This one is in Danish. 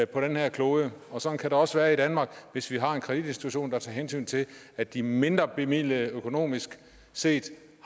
på denne her klode og sådan kan det også være i danmark hvis vi har en kreditinstitution der tager hensyn til at de mindrebemidlede økonomisk set